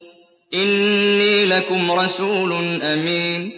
إِنِّي لَكُمْ رَسُولٌ أَمِينٌ